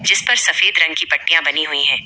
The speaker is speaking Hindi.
जिस पर सफेद रंग की पट्टियां बनी हुई हैं।